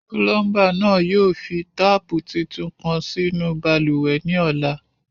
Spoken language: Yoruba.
̵Pulọmba naa yóò fi taapu títún kan sínu bálúwẹ̀ ni ọlà.